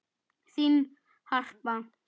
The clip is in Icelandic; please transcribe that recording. Þín Harpa.